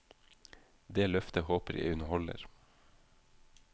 Det løftet håper jeg hun holder.